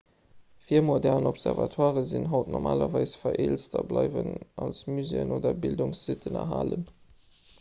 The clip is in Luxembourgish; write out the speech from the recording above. virmodern observatoiren sinn haut normalerweis vereelzt a bleiwen als muséeën oder bildungssitten erhalen